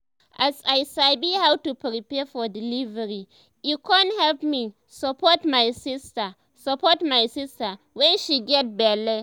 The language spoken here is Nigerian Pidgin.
as i sabi how to prepare for delivery e con help me support my sister support my sister wen she get belle